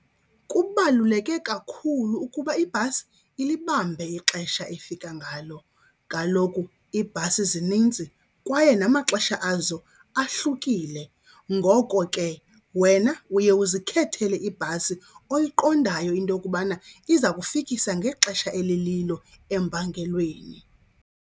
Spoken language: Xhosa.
Kubaluleke kakhulu ukuba ibhasi ilibambe ixesha efika ngalo. Kaloku iibhasi zininzi kwaye namaxesha azo ahlukile, ngoko ke wena uye uzikhethele ibhasi oyiqondayo into yokubana iza kufikisa ngexesha elililo empangelweni.